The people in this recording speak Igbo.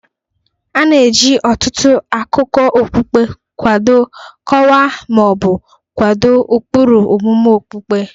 A na-eji ọtụtụ akụkọ okpukpe kwado, kọwaa, ma ọ bụ kwado ụkpụrụ omume okpukpe